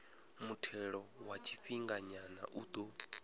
muthelo wa tshifhinganyana u ḓo